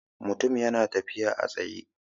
Mutum ya na tafiya a tsaye